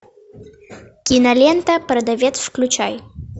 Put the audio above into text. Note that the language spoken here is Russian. кинолента продавец включай